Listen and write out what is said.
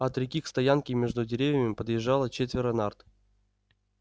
от реки к стоянке между деревьями подъезжало четверо нарт